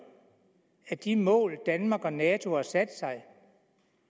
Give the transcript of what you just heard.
at de mål danmark og nato har sat sig